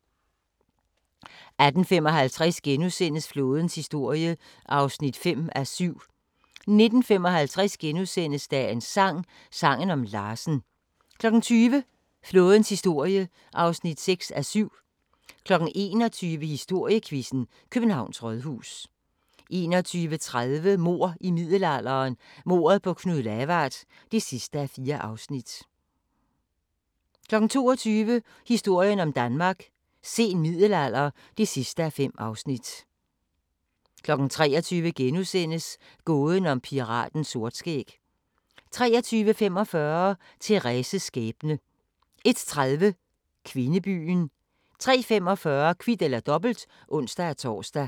18:55: Flådens historie (5:7)* 19:55: Dagens sang: Sangen om Larsen * 20:00: Flådens historie (6:7) 21:00: Historiequizzen: Københavns Rådhus 21:30: Mord i middelalderen – mordet på Knud Lavard (4:4) 22:00: Historien om Danmark: Sen middelalder (5:5) 23:00: Gåden om piraten Sortskæg * 23:45: Thérèses skæbne 01:30: Kvindebyen 03:45: Kvit eller Dobbelt (ons-tor)